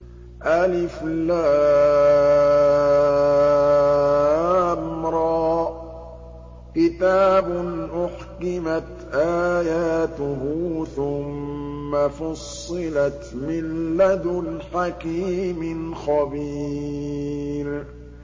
الر ۚ كِتَابٌ أُحْكِمَتْ آيَاتُهُ ثُمَّ فُصِّلَتْ مِن لَّدُنْ حَكِيمٍ خَبِيرٍ